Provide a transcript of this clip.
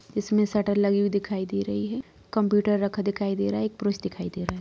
इसमें शटर लगी हुई दिखाई दे रही है कंप्यूटर रखा हुआ दिखाई दे रहा है एक पुरुष दिखाई दे रहा है।